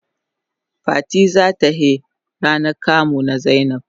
Fati za ta he ranan kamu na zainab.